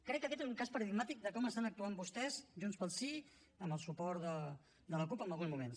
crec que aquest és un cas paradigmàtic de com estan actuant vostès junts pel sí amb el suport de la cup en alguns moments